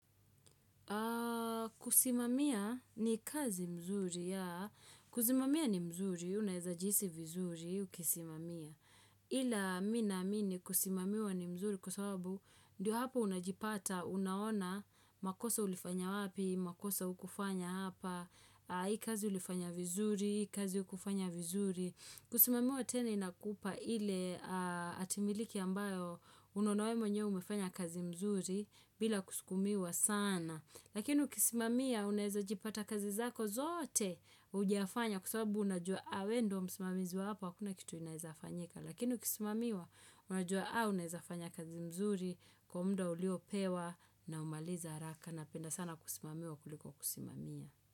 Kusimamia ni kazi mzuri ya kusimamia ni mzuri unaeza jihisi vizuri ukisimamia Ila mi naamini kusimamiwa ni mzuri kwa sababu ndio hapa unajipata unaona makosa ulifanya wapi makosa hukufanya hapa hii kazi ulifanya vizuri hii kazi hukufanya vizuri Kusimamiwa tena inakupa ile atimiliki ambayo unaona we mwenyewe umefanya kazi mzuri bila kusukumiwa sana Lakini ukisimamia unaweza jipata kazi zako zote hujafanya kwa sababu unajua we ndio msimamizi wa hapo hakuna kitu inaeza fanyika Lakini ukisimamiwa unajua unaeza fanya kazi mzuri kwa muda uliopewa na umalize haraka napenda sana kusimamiwa kuliko kusimamia.